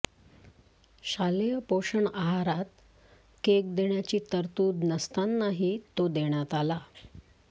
शालेय पोषण आहारात केक देण्याची तरतूद नसतानाही तो देण्यात आला